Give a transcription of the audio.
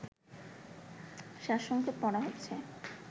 সারসংক্ষেপ পড়া হচ্ছে